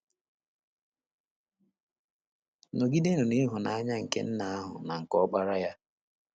Nọgidenụ n’Ịhụnanya nke Nna ahụ na nke Ọkpara Ya